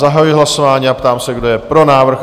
Zahajuji hlasování a ptám se, kdo je pro návrh?